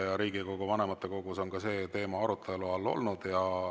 Ka Riigikogu vanematekogus on see teema arutelu all olnud.